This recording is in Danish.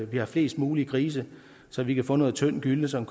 med flest mulige grise så vi kan få noget tynd gylle som